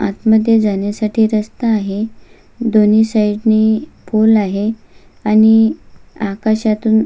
आत मध्ये जाण्यासाठी रस्ता आहे दोनी साइडने पूल आहे आणि आकाशातून --